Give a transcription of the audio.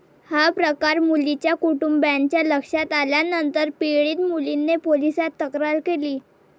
हा प्रकार मुलीच्या कुटुंबाच्या लक्षात आल्यानंतर पीडित मुलीने पोलिसात तक्रार दिली.